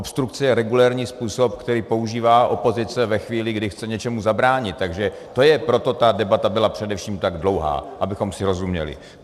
Obstrukce je regulérní způsob, který používá opozice ve chvíli, kdy chce něčemu zabránit, takže to je, proto ta debata byla především tak dlouhá, abychom si rozuměli.